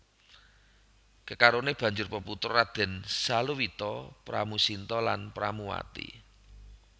Kekarone banjur peputra Raden Saluwita Pramusinta lan Pramuwati